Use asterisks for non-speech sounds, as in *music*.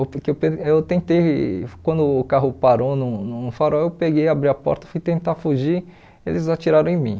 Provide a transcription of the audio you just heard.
*unintelligible* que eu eu tentei, quando o carro parou num num farol, eu peguei, abri a porta, fui tentar fugir, eles atiraram em mim.